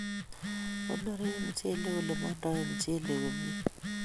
Konore mchelek olemandoe mchelek komye